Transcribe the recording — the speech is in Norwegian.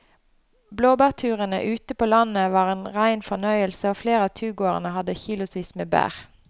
Blåbærturen ute på landet var en rein fornøyelse og flere av turgåerene hadde kilosvis med bær.